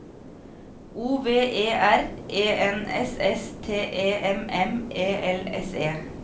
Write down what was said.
O V E R E N S S T E M M E L S E